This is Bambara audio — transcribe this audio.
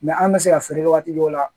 an bɛ se ka feere waati dɔw la